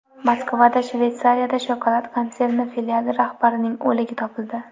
Moskvada Shveysariya shokolad konserni filiali rahbarining o‘ligi topildi.